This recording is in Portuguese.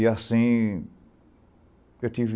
E, assim, eu tive